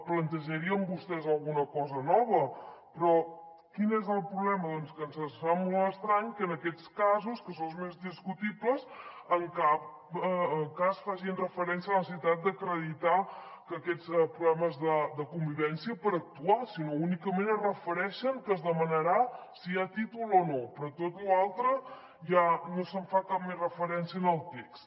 plantejarien vostès alguna cosa nova però quin és el problema doncs que se’ns fa molt estrany que en aquests casos que són els més discutibles en cap cas facin referència a la necessitat d’acreditar aquests problemes de convivència per actuar sinó que únicament es refereixen que es demanarà si hi ha títol o no però a tot lo altre ja no s’hi fa cap més referència en el text